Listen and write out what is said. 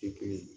Kiri